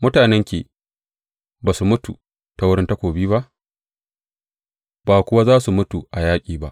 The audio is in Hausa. Mutanenki ba su mutu ta wurin takobi ba, ba kuwa za su mutu a yaƙi ba.